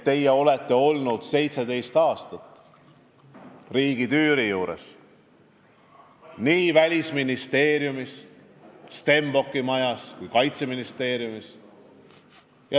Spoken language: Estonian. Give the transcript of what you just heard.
Teie olete olnud 17 aastat riigitüüri juures, nii Välisministeeriumis, Stenbocki majas kui ka Kaitseministeeriumis.